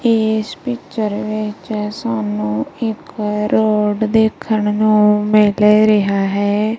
ਏਸ ਪਿਕਚਰ ਵਿੱਚ ਸਾਨੂੰ ਇੱਕ ਰੋਡ ਦੇਖਣ ਨੂੰ ਮਿਲ ਰਿਹਾ ਹੈ।